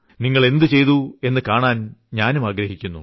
നിങ്ങൾ എന്തു ചെയ്തു എന്നു കാണാൻ ഞാനും ആഗ്രഹിക്കുന്നു